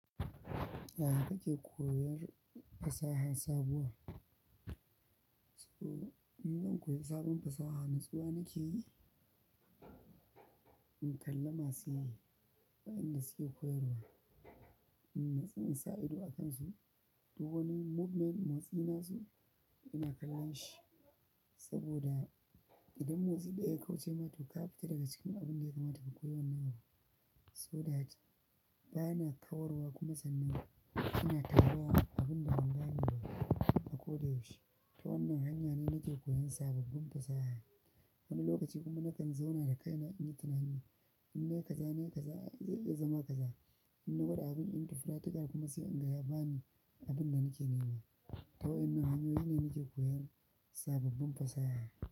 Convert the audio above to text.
Eh, nake koyar fasaha sabuwa. So in zan koyi sabon fasaha, natsuwa nake yi in kalla masu yi, waɗanda suke koyarwa. In natsu in sa ido a kansu, duk wani movement motsi nasu ina kallon shi. Saboda idan motsi ɗaya ya kauce ma to ka fita daga cikin abin da ya kamata ka koyi wannan abu. Saboda haka bana kawar wa kuma sannan. Ina tara abin da ban gane ba a ko da yaushe, ta wannan hanya ne nake koyan sababbin fasaha. Wani lokaci kuma nakan zauna da kaina in yi tunani, in na yi kaza na yi kaza, zai iya zama kaza. In na gwada abin in to practical kuma sai in ga ya bani abin da nake nema. Ta waƴannan hanyoyi ne nake koyan sababbin fasaha.